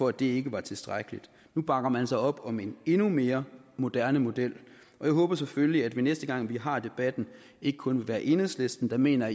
at det ikke var tilstrækkeligt nu bakker man så op om en endnu mere moderne model og jeg håber selvfølgelig at det næste gang vi har debatten ikke kun vil være enhedslisten der mener